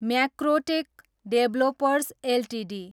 Macrotech Developers Ltd